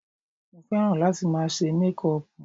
Mo fẹ́ràn láti máa ṣe mékùpù